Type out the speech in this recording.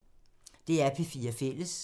DR P4 Fælles